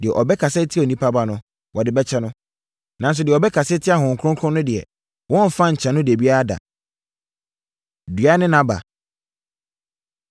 Deɛ ɔbɛkasa atia Onipa Ba no, wɔde bɛkyɛ no. Nanso, deɛ ɔbɛkasa atia Honhom Kronkron no deɛ, wɔremfa nkyɛ no da biara da. Dua Ne Nʼaba